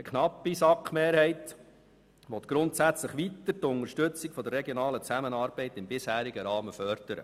Eine knappe SAK-Mehrheit will grundsätzlich weiter die Unterstützung der regionalen Zusammenarbeit im bisherigen Rahmen fördern.